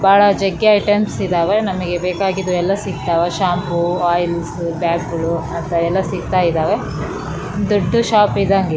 ಬಾಳ ಜಗ್ಗಿ ಐಟಮ್ಸ್ ಇದಾವೆ ನಮ್ಗೆ ಬೇಕಾಗಿರೋ ಸಿಗ್ತಾವ ಶ್ಯಾಂಪು ಓಇಲ್ಸ್ ಬ್ಯಾಗ್ ಗಳು ಅಂತವೆಲ್ಲ ಸಿಗ್ತಾ ಇದಾವೆ ದೊಡ್ಡ್ ಶೋಪ್ ಇದ್ದಂಗೆ.